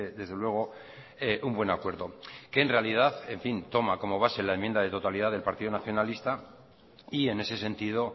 desde luego un buen acuerdo que en realidad en fin toma como base la enmienda de totalidad del partido nacionalista y en ese sentido